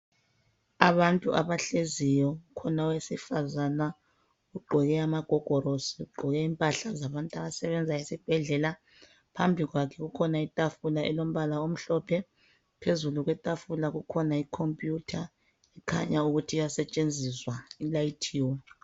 Abantu abahleziyo, kukhona owesifazana ugqoke amagogorosi, ugqoke impahala zabantu abasebenza esibhedlela. Phambi kwakhe kukhona itafula elombala omhlophe, phezulu kwetafula kukhona ikhompuyutha kukhanya ukuthi iyasetshenziswa ilayithiwe.